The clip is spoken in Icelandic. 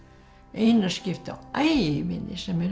eina skiptið á ævinni sem mér